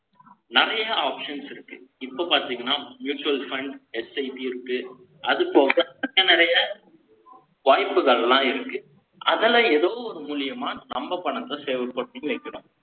நிறைய options இருக்கு. இப்ப பாத்தீங்கன்னா, mutual fundsSIV இருக்கு. அது போக, தக்க நிறைய, வாய்ப்புகள்லாம் இருக்கு. அதுல, ஏதோ ஒரு மூலியமா, நம்ம பணத்தை, செயல்படுத்தி வைக்கணும்